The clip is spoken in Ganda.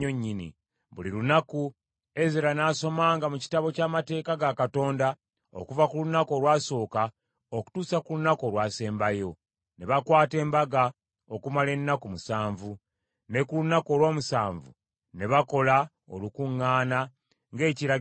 Buli lunaku, Ezera n’asomanga mu Kitabo ky’Amateeka ga Katonda okuva ku lunaku olwasooka okutuusa ku lunaku olwasembayo. Ne bakwata embaga okumala ennaku musanvu, ne ku lunaku olw’omunaana, ne bakola olukuŋŋaana, ng’ekiragiro bwe kiri.